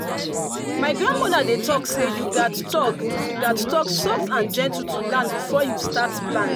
my grandmother dey talk say you gats talk gats talk soft and gentle to land before you start plant.